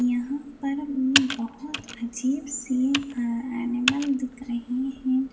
यहां पर इ बहुत अजीब सी अ एनिमल दिख रहे हैं।